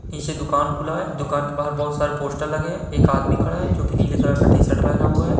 नीचे दुकान खुला हुआ है दुकान के बाहर सारे पोस्टर लगे है एक आदमी खङा है जो कि नीले कलर का टी-सट पहना हुआ है।